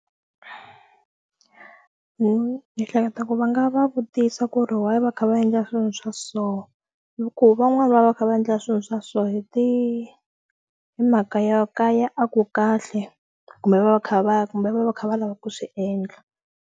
Ni hleketa ku va nga va vutisa ku ri why va kha va endla swilo swa so hi ku van'wani va va kha va endla swilo swa so hi ti hi mhaka yo kaya a ku kahle kumbe va va kha va kumbe va va kha va lava ku swi endla.